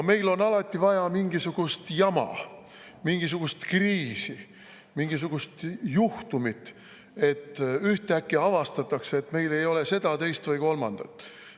No meil on alati vaja mingisugust jama, mingisugust kriisi, mingisugust juhtumit – ühtäkki avastatakse, et meil ei ole seda, teist või kolmandat.